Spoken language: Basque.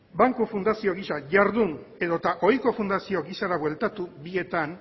banku fundazio gisa jardun edota ohiko fundazio gisara bueltatu bietan